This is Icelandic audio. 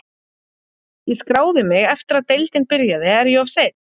Ég skráði mig eftir að deildin byrjaði, er ég of seinn?